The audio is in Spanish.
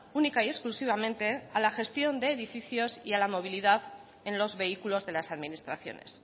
única y exclusivamente a la gestión de edificios y a la movilidad en los vehículos de las administraciones